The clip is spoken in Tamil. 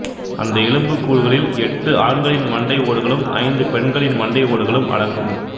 அந்த எலும்பு கூடுகளில் எட்டு ஆண்களின் மண்டை ஓடுகளும் ஐந்து பெண்களின் மண்டை ஓடுகளும் அடங்கும்